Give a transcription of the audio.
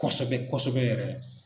Kosɛbɛ kosɛbɛ yɛrɛ.